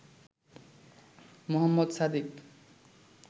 Mohammad Sadiq